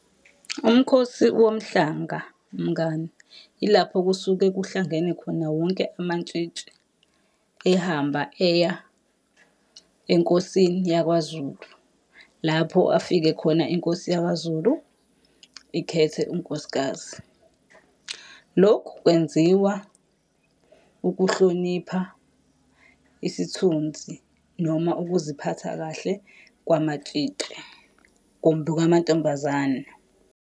Umkhosi womhlanga mngani, ilapho kusuke kuhlangene khona wonke amantshitshi. Ehamba eya enkosini yakwaZulu, lapho afike khona inkosi yakwaZulu ikhethe unkosikazi. Lokhu kwenziwa ukuhlonipha isithunzi, noma ukuziphatha kahle kwamatshitshi, kumbe kwamantombazane.